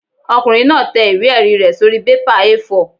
Ọkùnrin náà tẹ ìwé-ẹ̀rí rẹ̀ sórí bébà A4